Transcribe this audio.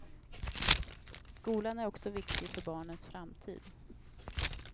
Skolan är också viktig för barnens framtid.